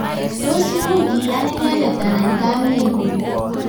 tos much keyan inendet anan kamet nyin?